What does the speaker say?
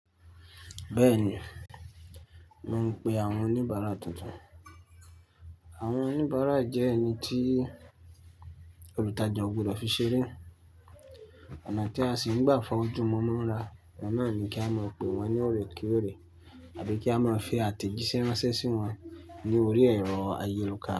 Bẹ́ẹ̀ni, mò ń pe àwọn oníbàárà tuntun. Àwọn oníbàárà jẹ́ ẹni tí olùtajà o gbọdọ̀ fi ṣeré, ọ̀nà tí a sì n gbà fa ojú won mọ́ra. Ọhun náà ni kí a máa pe wọ́n ní oòrè kééré àbí kí a máa fi àtẹ̀jíṣẹ́ ránṣẹ́ sí wọn ní orí ẹ̀rọ ayélùká.